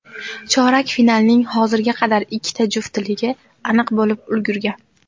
Chorak finalning hozirga qadar ikkita juftligi aniq bo‘lib ulgurgan.